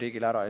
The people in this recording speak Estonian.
riigile ära.